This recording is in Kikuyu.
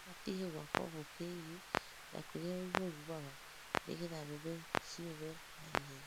Rĩbatiĩ gwakwo mũkĩgiĩ na kũrĩa rũhuho rumaga nĩgetha mbembe ciũme na ihenya.